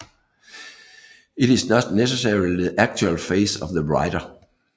It is not necessarily the actual face of the writer